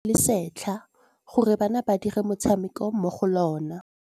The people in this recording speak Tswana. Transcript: Ba rekile lebati le le setlha gore bana ba dire motshameko mo go lona.